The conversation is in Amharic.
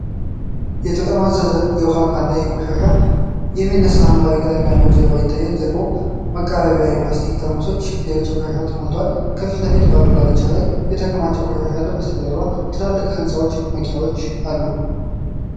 የተጠማዘዘ የውሃ አካል ላይ ቆሻሻ የሚያነሳ ሐምራዊ ቀለም ያለው ጀልባ ይታያል። የጀልባው መቃረሚያ በፕላስቲክ ጠርሙሶችና በሌሎች ቆሻሻዎች ተሞልቷል። ከፊት ለፊት ባለው ዳርቻ ላይ የተከማቸ ቆሻሻ አለ፤ ከበስተጀርባ ትላልቅ ሕንጻዎችና መኪናዎች አሉ።